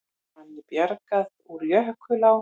Manni bjargað úr jökulá